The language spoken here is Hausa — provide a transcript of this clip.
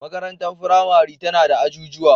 Makarantar firamare tana da ajujuwa.